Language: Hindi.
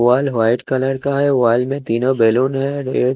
वॉल वाइट कलर का है में तीनो बैलून है ए--